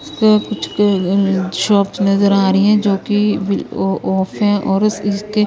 कुछ शॉप्स नजर आ रही है जो कि अ-ऑफ है और इस-इसके--